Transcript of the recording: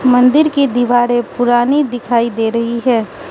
मंदिर की दीवारें पुरानी दिखाई दे रही है।